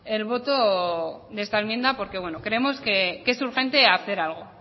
el voto de esta enmienda porque bueno creemos que es urgente hacer algo